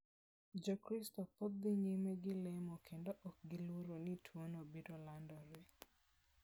Jokristo pod dhi nyime gi lemo kendo ok giluor ni tuono biro landore.